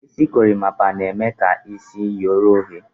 Isi gorimapa na-eme ka isi yoro oyo